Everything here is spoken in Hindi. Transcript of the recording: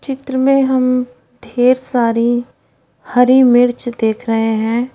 चित्र में हम ढेर सारी हरी मिर्च देख रहे हैं।